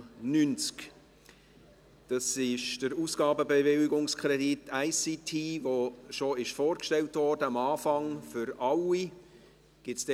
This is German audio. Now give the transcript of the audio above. Es handelt sich um den Ausgabenbewilligungskredit ICT, der schon vorgestellt wurde, am Anfang gleich für alle Direktionen.